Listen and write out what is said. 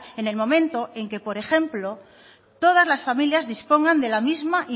en el momento en el que por ejemplo todas las familias dispongan de la mismo